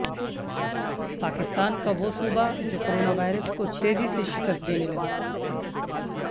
پاکستان کا وہ صوبہ جو کورونا وائرس کو تیزی سے شکست دینے لگا